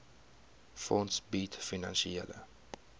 fonds bied finansiële